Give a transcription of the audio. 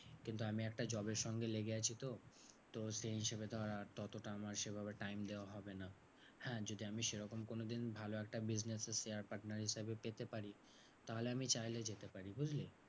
কিন্তু আমি একটা job এর সঙ্গে লেগে আছি তো? তো সেই হিসেবে ধর আর ততটা আমার সেভাবে time দেওয়া হবে না। হ্যাঁ যদি আমি সেরকম কোনোদিন ভালো একটা business এর share partner হিসেবে পেতে পারি তাহলে আমি চাইলে যেতে পারি, বুঝলি?